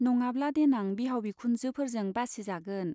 नङाब्ला देनां बिहाव बिखुनजो फोरजों बासिजागोन।